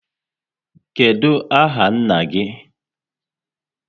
What is your father's name?